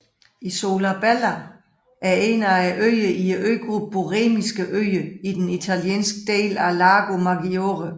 Isola Bella er en af øerne i øgruppen Borromeiske Øer i den italienske del af Lago Maggiore